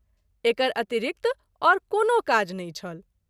एकर अतिरिक्त और कोनो काज नहिं छल।